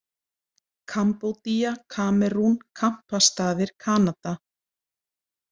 Kambódía, Kamerún, Kampastaðir, Kanada